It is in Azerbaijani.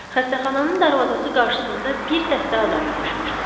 Xəstəxananın darvazası qarşısında bir dəstə adam yığışmışdı.